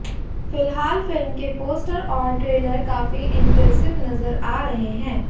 फिल्हाल film के poster और trailer काफी इँप्रेसिव नज़र आ रहे हैं